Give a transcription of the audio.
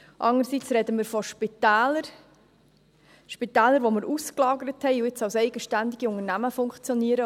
Andererseits sprechen wir von Spitälern, die wir ausgelagert haben und nun als eigenständige Unternehmen funktionieren.